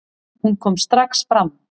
Hún kom strax fram.